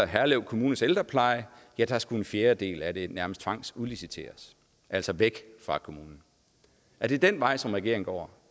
herlev kommunes ældrepleje at dér skulle en fjerdedel af det nærmest tvangsudliciteres altså væk fra kommunen er det den vej som regeringen går